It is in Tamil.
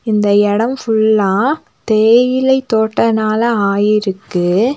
இந்த எடம் ஃபுல்லா தேயிலை தோட்டனால ஆயிருக்கு.